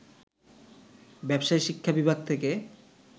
ব্যবসায় শিক্ষা বিভাগ থেকে